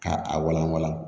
Ka a walawala